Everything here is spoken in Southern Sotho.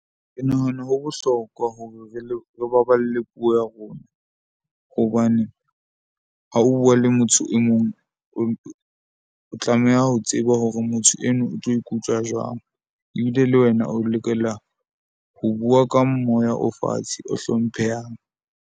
Ke nahana ho bohlokwa hore re le re baballe puo ya rona. Hobane ha o bua le motho e mong, o tlameha ho tseba hore motho eno o tlo ikutlwa jwang ebile le wena o lokela ho bua ka moya o fatshe, o hlomphehang.